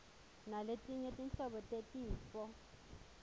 naletinye tinhlobo tetifo